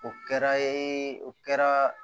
O kɛra o kɛra